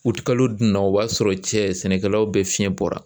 U kalo dunna o b'a sɔrɔ cɛ sɛnɛkɛlaw be fiɲɛ bɔra